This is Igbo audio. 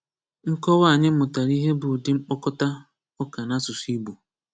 Nkọwa a anyị mụtara ihe bụ ụdị mkpokọta ụka n’asụsụ Igbo.